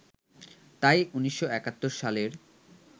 তাই ১৯৭১ সালের